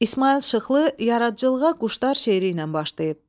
İsmayıl Şıxlı yaradıcılığa Quşlar şeiri ilə başlayıb.